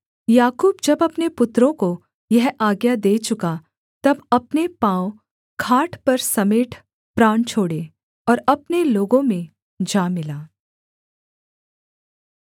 याकूब जब अपने पुत्रों को यह आज्ञा दे चुका तब अपने पाँव खाट पर समेट प्राण छोड़े और अपने लोगों में जा मिला